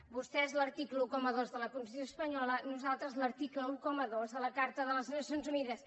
vostès l’article dotze de la constitució espanyola nosaltres l’article dotze de la carta de les nacions unides